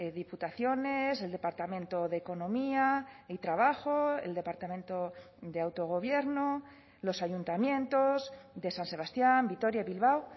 diputaciones el departamento de economía y trabajo el departamento de autogobierno los ayuntamientos de san sebastián vitoria bilbao